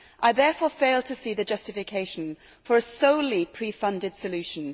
I therefore fail to see the justification for a solely pre funded solution.